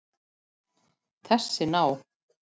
Þessi ná